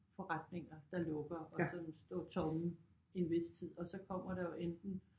Forretninger der lukker og sådan står tomme i en vis tid og så kommer der jo enten